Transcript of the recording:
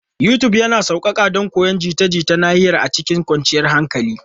YouTube yana sauƙaƙa don koyon jita-jita na nahiya a cikin kwanciyar hankali.